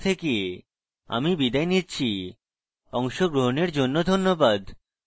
I I T Bombay থেকে আমি বিদায় নিচ্ছি অংশগ্রহনের জন্য ধন্যবাদ